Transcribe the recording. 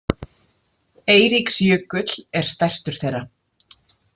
Eiríksjökull er stærstur þeirra.